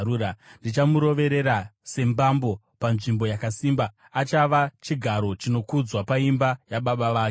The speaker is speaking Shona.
Ndichamuroverera sembambo panzvimbo yakasimba; achava chigaro chinokudzwa paimba yababa vake.